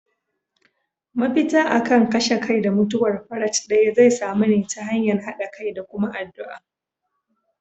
Mafita akan kashe kai da mutuwar farat daya zai samu ne ta hanyar hada kai da kuma addu'a.